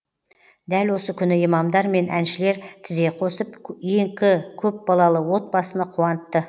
дәл осы күні имамдар мен әншілер тізе қосып екі көпбалалы отбасыны қуантты